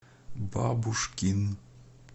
бабушкин